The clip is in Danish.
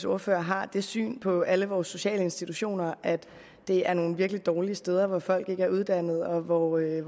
ordfører har det syn på alle vores sociale institutioner at det er nogle virkelig dårlige steder hvor folk ikke er uddannet og hvor det